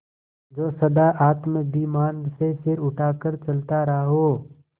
जो सदा आत्माभिमान से सिर उठा कर चलता रहा हो